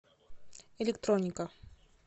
электроника